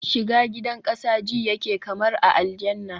shiga gidan kasa ji yake kamar a aljanna